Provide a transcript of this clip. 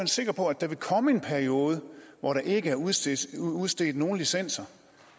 sikker på at der vil komme en periode hvor der ikke er udstedt udstedt nogen licenser